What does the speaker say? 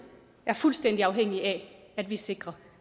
er fuldstændig afhængig af at vi sikrer